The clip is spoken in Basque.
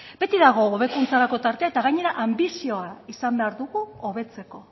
beti dago hobekuntzarako tartea eta gainera anbizioa izan behar dugu hobetzeko